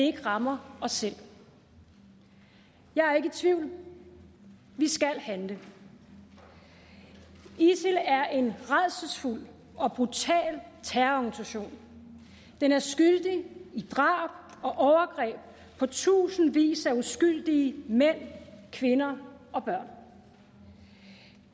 ikke rammer os selv jeg er ikke i tvivl vi skal handle isil er en rædselsfuld og brutal terrororganisation den er skyldig i drab og overgreb på tusindvis af uskyldige mænd kvinder og børn